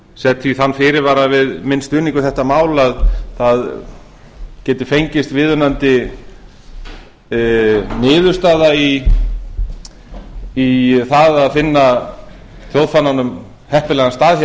set því þann fyrirvara við minn stuðning við þetta mál að það geti fengist viðunandi niðurstaða í það að finna þjóðfánanum heppilegan stað